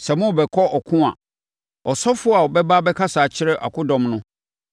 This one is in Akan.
Sɛ morebɛkɔ ɔko a, ɔsɔfoɔ no bɛba abɛkasa akyerɛ akodɔm no.